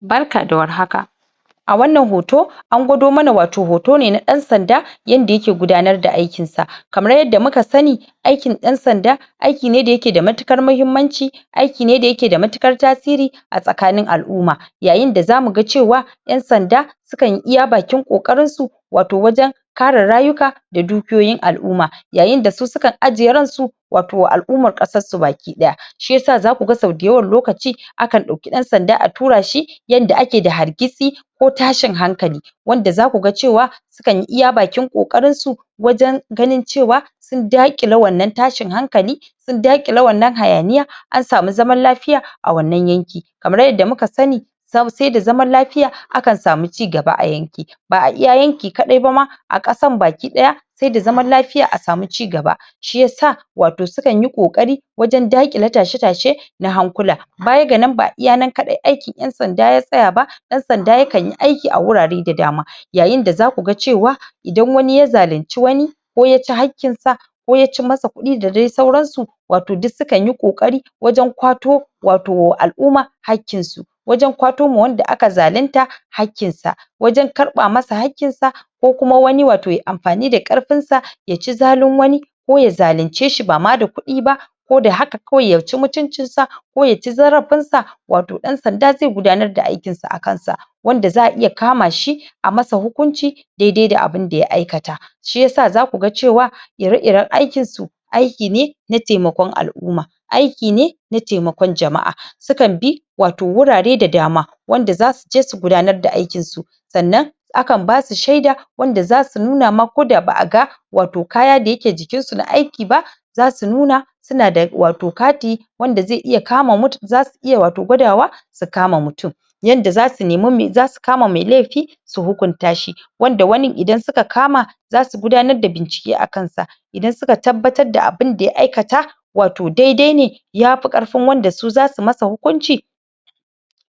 Barka da warhaka A wannan hoto na gwado mana watau hoto ne na ɗan sanda yadda yake gudanar da aikinsa aikin ɗan sanda aiki ne da yake da matuƙar mahimmanci aiki ne da yake da matuƙar tasiri a tsakanin al'umma yayin da zamu ga cewa ɗan sanda sukan yi iya bakin ƙoƙarinsu watau wajen kare rayuka da dukiyoyin al'umma yayin da su sukan ajiye ransu watau wa al'ummar ƙasar su baki ɗaya shiyasa zaku ga sau dayawan lokaci akan ɗauki ɗan sanda a tura shi yanda ake da hargitsi ko tashin hankali wanda zaku ga cewa sukan yi iya bakin ƙoƙarinsu wajen ganin cewa sun daƙile wannan tashin hankali sun daƙile wannan hayaniya an samu zaman lafiya a wannan yanki kamar yadda muka sani sai da zaman lafiya akan samu cigaba a yanki ba a iya yanki ba ma a ƙasan baki ɗaya sai da zaman lafiya a samu cigaba shiyasa sukan yi watau ƙoƙari wajen daƙile tashe tashe na hankula baya ga nan ba iya nan kaɗai aikin ƴan sanda ya tsaya ba ɗan sanda yakan yi aiki a wurare da dama yayin da zaku ga cewa idan wani ya zalinci wani ko ya ci haƙƙin sa ko ya cim masa kuɗi da sai sauran su watau duk sukan yi ƙoƙari wajen ƙwato watau wa al'umma haƙƙinsu wajen ƙwato ma wanda aka zalinta hakkinsa wajen karɓa masa hakkinsa ko kuma wani watau yayi amfani da ƙarfinsa ya ci zalin wani ko ya zalince ba ma da kuɗi ba ko da haka kawai ya ci mutuncin sa ko ya ci zarafin sa watau ɗan sanda zai gudanar da aikinsa a kansa wanda za a iya kama shi a masa hukunci daidai da abunda ya aikata shiyasa zaku ga cewa ire-iren aikinsu aiki ne na taimakon al'umma aiki ne na taimakon jama'a. sukan bi watau wurare da dama wanda zasuje su gudanar da aikinsu sannan akan basu shaida wanda zasu nuna ma koda ba a ga watau kaya da yake jikinsu na aiki ba zasu nuna suna da watau kati wanda zasu iya watau gwadawa su kama mutum yanda zasu nemi zasu kama mai laifi su hukunta shi wanda wanin idan suka kama za su gudanar da bincike a kansa idan suka tabbatar da abunda ya aikata watau daidai ne ya fi ƙarfin wanda su zasu masa hukunci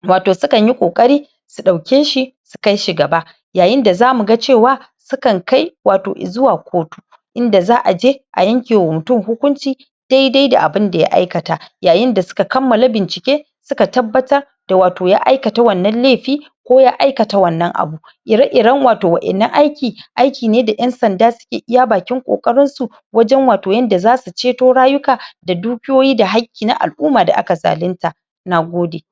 watau sukan yi ƙoƙari su ɗauke shi su kai shi gaba yayin da zamu ga cewa sukan kai watau i zuwa kotu inda za a je a yanke wa mutum hukunci daidai da abunda ya aikata yayin da suka kammala bincike suka tabbatar da watau ya aikata wannan laifi ko ya aikata wannan abu ire-iren watau wa'innan aiki aiki ne da ƴan sanda suke iya bakin ƙoƙarinsu wajen watau yadda zasu ceto rayuka da dukiyayi da haƙƙi na al'umma da aka zalinta Nagode